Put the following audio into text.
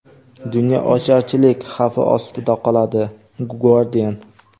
dunyo ocharchilik xavfi ostida qoladi — Guardian.